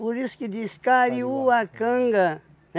Por isso que diz Kariuacanga,